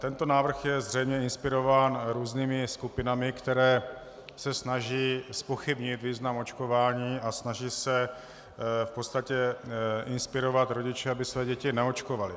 Tento návrh je zřejmě inspirován různými skupinami, které se snaží zpochybnit význam očkování a snaží se v podstatě inspirovat rodiče, aby své děti neočkovali.